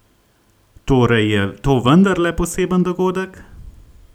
Torej je to vendarle poseben dogodek?